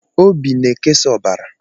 Obi na-ekesa ọbara.